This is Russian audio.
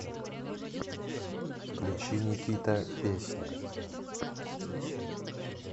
включи никита песня